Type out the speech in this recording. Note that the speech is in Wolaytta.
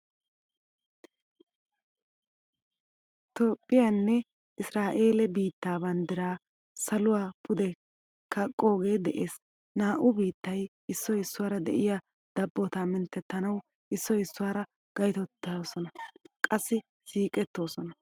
Toophphiyaanne isiraela biitta banddiraa saluwaa pude kaqqoge de'ees. Naa'u biittay issoy issuwaara de'iyaa dabbota minttanawu issoy issuwaara gayttoosona. Qassi siiqettoosona.